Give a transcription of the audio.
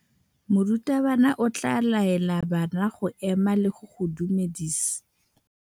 Morutabana o tla laela bana go ema le go go dumedisa.